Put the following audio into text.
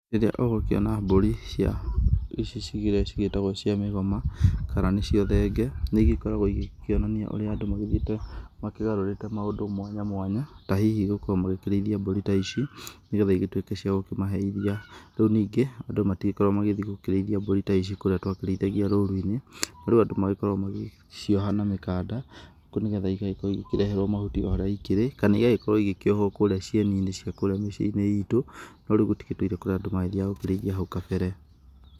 Rĩrĩa ũgĩkĩona mbũri cia ici, cigĩrĩ , cigĩtagwo cia mĩgoma kana nĩcio thenge, nĩ gĩkoragwo igĩkĩonania ũrĩa andũ magĩthíĩte makĩgarũrĩte maũndũ mwanya, mwanya, tahihi gũkorwo magĩkĩrĩaithia mbũri ta ici nĩ getha igĩtuĩke cia gũkĩmahe iria, rĩu nyingĩ andũ matigĩkoragwo magĩthiĩ kũrĩithia mbũri ta ici kũrĩa twakĩrĩithagia rũru- inĩ, rĩu andũ magĩkoragwo magĩcioha na mĩkanda gũkũ nĩgetha igakorwo ikĩreherwo mahuti o harĩa ikĩrĩ, kana igagĩkorwo igĩkĩohwo kũrĩa cieninĩ cia kũrĩa mĩcia-inĩ itũ, no rĩu gũtigĩtũire kũrĩa andũ mathiaga kũrĩithia hau kabere.